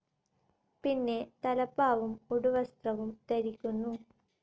പിന്നെ തലപ്പാവും ഉടുവസ്ത്രവും ധരിക്കുന്നു.